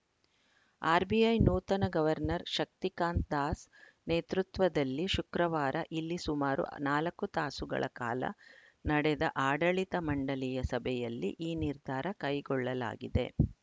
RBI ನೂತನ governor Shaktikanta Das ನೇತೃತ್ವದಲ್ಲಿ ಶುಕ್ರವಾರ ಇಲ್ಲಿ ಸುಮಾರು ನಾಲ್ಕು ತಾಸುಗಳ ಕಾಲ ನಡೆದ ಆಡಳಿತ ಮಂಡಳಿಯ ಸಭೆಯಲ್ಲಿ ಈ ನಿರ್ಧಾರ ಕೈಗೊಳ್ಳಲಾಗಿದೆ